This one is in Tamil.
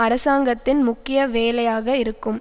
அரசாங்கத்தின் முக்கிய வேலையாக இருக்கும்